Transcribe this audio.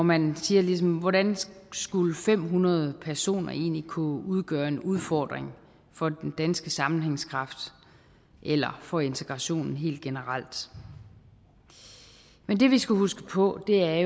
man siger ligesom hvordan skulle fem hundrede personer egentlig kunne udgøre en udfordring for den danske sammenhængskraft eller for integrationen helt generelt men det vi skal huske på er